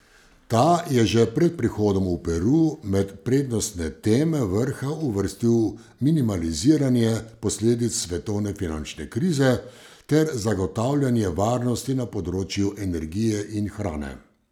Ta je že pred prihodom v Peru med prednostne teme vrha uvrstil minimaliziranje posledic svetovne finančne krize ter zagotavljanje varnosti na področju energije in hrane.